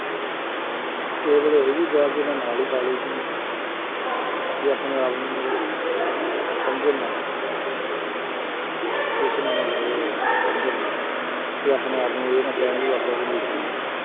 ਕਿਸੇ ਵੇਲੇ ਅਸੀਂ ਵੀ ਬਹਿ ਕੇ ਉਹਨਾਂ ਨਾਲ ਹੀ ਖਾ ਲਈਦੀ ਹੈ ਕਿ ਆਪਣੇ ਆਪ ਨੂੰ ਉਹ ਸਮਝਣ ਨਾ ਮਤਲਬ ਇਹ ਹੈ ਸਮਝਣ ਨਾ, ਵੀ ਆਪਣੇ ਆਪ ਨੂੰ ਇਹ ਨਾ ਕਹਿਣ ਵੀ ਵਾਕਈ ਅਸੀਂ ਮਜ਼ਦੂਰ ਹਾਂ।